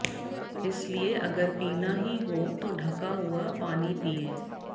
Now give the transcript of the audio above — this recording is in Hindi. इसलिए अगर पीना ही हो तो ढंका हुआ पानी पिएं